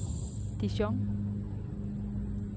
Dijon